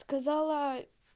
сказала